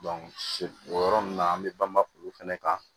o yɔrɔ nunnu na an bɛ banba olu fɛnɛ kan